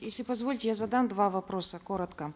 если позволите я задам два вопроса коротко